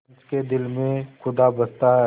पंच के दिल में खुदा बसता है